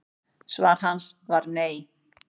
Svar hans var nei.